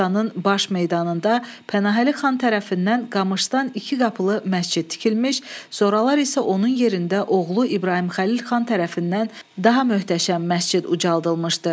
Şuşanın baş meydanında Pənahəli xan tərəfindən qamışdan iki qapılı məscid tikilmiş, sonralar isə onun yerində oğlu İbrahim Xəlil xan tərəfindən daha möhtəşəm məscid ucaldılmışdı.